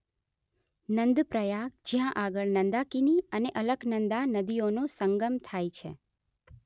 નંદ પ્રયાગ જ્યાં આગળ નંદાકિની અને અલકનંદા નદીઓનો સંગમ થાય છે